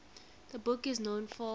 the book is known for